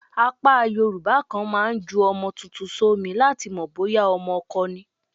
Apá Yorùbá kan máa ń ju ọmọ tuntun sómi láti mọ̀ bóyá ọmọkọ ni.